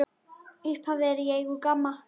Upphaf er í eigu GAMMA.